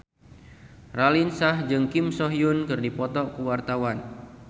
Raline Shah jeung Kim So Hyun keur dipoto ku wartawan